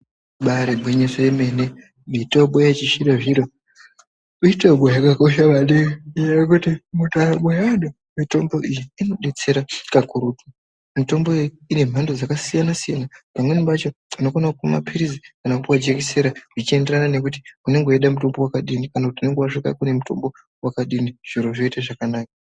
Ibaarigwinyiso yemene mitombo yechizvinozvino ,mitombo yakakosha maningi ngenyaya yekuti ,mundaramo yeantu mitombo iyi inodetsera kakurutu. Mitombo iyi inemhando dzakasiyanasiyana pamweni pacho unokone kumwa mapilizi kana kupuwe jekisera zvichienderana nekuti unenge weida mutombo wakadini kana kuti unenge wasvika kune mutombo wakadini ,zviro zvoite zvakanaka.